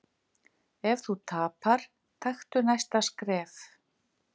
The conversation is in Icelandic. Ef þú tapar, taktu næsta skref.